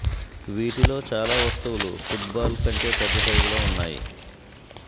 వీటిలో చాలా వస్తువులు ఫుట్ బాల్ కంటే పెద్ద సైజులో ఉన్నాయి